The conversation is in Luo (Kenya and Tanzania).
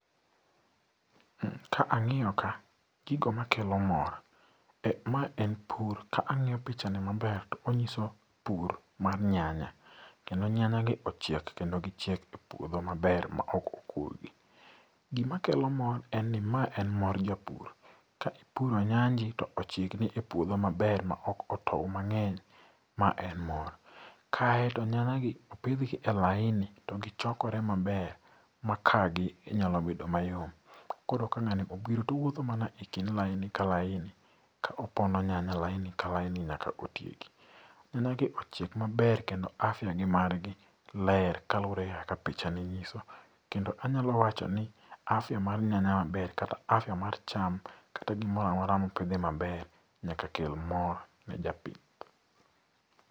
Ka ang'iyo ka gigo makelo mor, ma en pur ka ang'iyo pichani maber to onyiso pur mar nyanya kendo nyanyagi ochiek kendo gichiek e puodho maber ma ok okurgi .Gimakelo mor en ni ma en mor japur. Ka ipuro nyanji to ochiekni e puodho maber maok otou mang'eny ma en mor. Kae to nyanyagi opidhgi e laini to gichoikore maber makaa gi nyalobedo mayom. Koro ka ng'ani obiro towuotho mana e kind laini ka laini. Ka opono nyanya laini ka laini nyaka otieki. Nyanya gi ochiek maber kendo afya gi margi ler kluore kaka pichani nyiso. Kendo anyalo wachoni afya mar nyanya maber kata afya mar cham kata gimoramora mopidhi maber nyaka kel mor ne japith.